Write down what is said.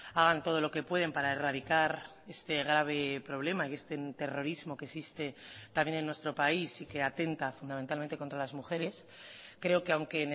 hagan todo lo que pueden para erradicar este grave problema y este terrorismo que existe también en nuestro país y que atenta fundamentalmente contra las mujeres creo que aunque